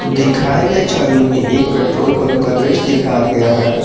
दिखाये गई छवि में एक पेट्रोल पंप का दृश्य दिखाया गया है।